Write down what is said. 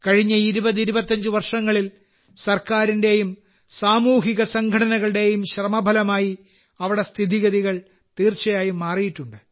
കഴിഞ്ഞ 2025 വർഷങ്ങളിൽ സർക്കാരിന്റെയും സാമൂഹിക സംഘടനകളുടെയും ശ്രമഫലമായി അവിടെ സ്ഥിതിഗതികൾ തീർച്ചയായും മാറിയിട്ടുണ്ട്